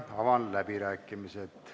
Avan läbirääkimised.